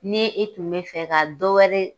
Ni e tun bɛ fɛ ka dɔ wɛrɛ